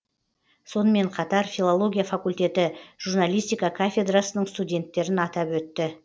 сонымен қатар филология факультеті журналистика кафедрасының студенттерін атап өтті